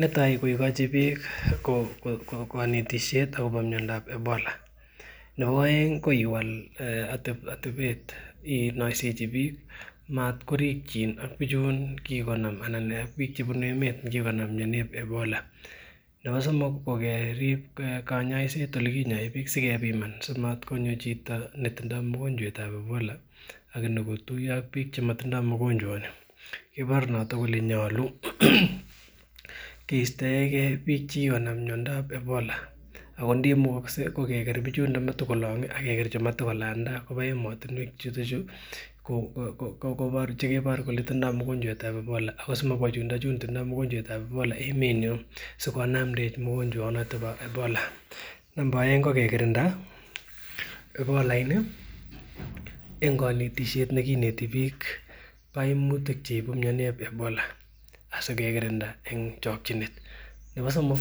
Netai kotikochi bik akobo miandob Ebola nebo aeng koiwal atebet inaisechi bik matkorikyin ak bichun kikonaam anan bik chebunu emeet nekikonam ebola, nebo somok ko kerib kanyaiset sikebiman simoit konyo chito netindo mogochwaitab ebola akonyor kotuyo ak bik chematindo mogonchwani nyalu kestaeke bik chekikoba miandab ebola sipakeker bichundo matogolsng, ageker matokolsnda koba emotinuek chuton chuun. Ko chekabor kole tinye mogochwaitab ebola emet nyon, sikonamndech mogonchwet noto nebo ebola namba aeng ko kekirnda ebola ini en kanetisosiet ne kineti bik kaimutik cheibu miani ebola asikekorinda en chakchinet . Nebo somok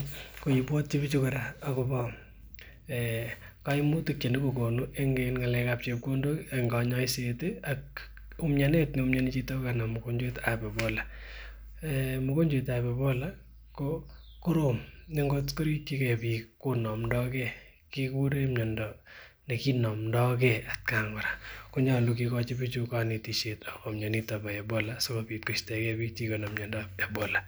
en ng'alekab chebkondok en kanyaiset ih Ako miani chito mogochwaitab Ebola mogochwaitab ebola ko korom matkoryikchike bik akonamndake kikuren miando nekinamndake at kaan kora nyalu kikochi bichu kanetishet asikostaenke bik chekikonam miandab ebola